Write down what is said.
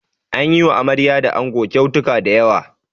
An yi wa amarya da ango kyautuka da yawa.